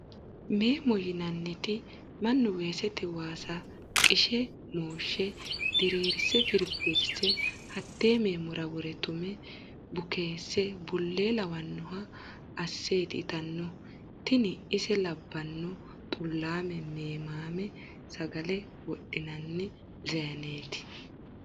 Memo yinanniti mannu weesete waasa qishe mooshe dirirse firifise hate memora wore tume bukese bule lawanoha asseti ittanohu tini ise labbano xu'lame memame sagale wodhinanni zayineti.